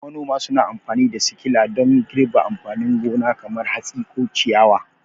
Manoma suna amfani da sikila don girbi amfanin gona kamar hatsi ko ciyawa.